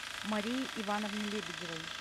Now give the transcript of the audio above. марии ивановне лебедевой